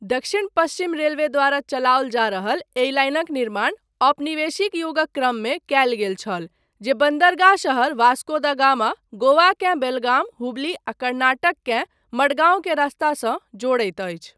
दक्षिण पश्चिम रेलवे द्वारा चलाओल जा रहल एहि लाइनक निर्माण औपनिवेशिक युगक क्रममे कयल गेल छल जे बन्दरगाह शहर वास्को दा गामा, गोवाकेँ बेलगाम, हुबली आ कर्नाटककेँ मडगांव के रस्तासँ जोड़ैत अछि।